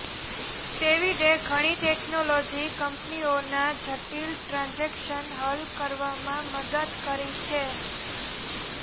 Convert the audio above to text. ડેવિડે ઘણી ટેકનોલોજી કંપનીઓના જટિલ ટ્રાન્જેક્શન હલ કરવામાં મદદ કરી છે